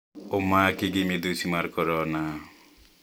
Omaki gi midhusi mar korona